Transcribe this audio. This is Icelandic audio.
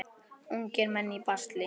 Ungir menn í basli.